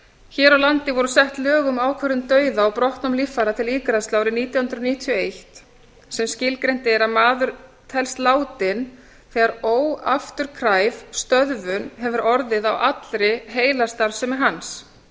hér á landi voru sett lög um ákvörðun dauða og brottnám líffæra til ígræðslu árið nítján hundruð níutíu og eitt þar sem skilgreint er að maður telst látinn þegar óafturkræf stöðvun hefur orðið á allri heilastarfsemi hans